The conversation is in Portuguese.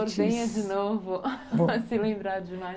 venha de novo se lembrar de mais coisas.